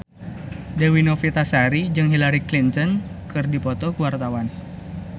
Dewi Novitasari jeung Hillary Clinton keur dipoto ku wartawan